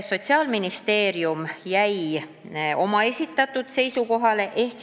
Sotsiaalministeerium jäi oma esitatud seisukohale.